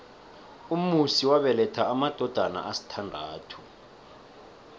umusi wabeletha amadodana asithandathu